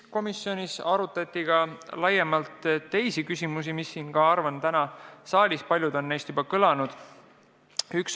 Komisjonis arutati laiemalt mitut küsimust, millest paljud on ka täna siin saalis kõlanud.